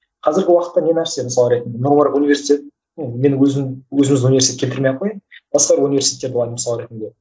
қазіргі уақытта не нәрсе мысалы ретінде нұр мүбарак университеті менің өзім өзіміздің университетке кірмей ақ қояйын басқа бір университеттерді алайын мысалы ретінде